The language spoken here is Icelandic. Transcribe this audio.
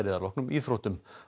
að loknum íþróttum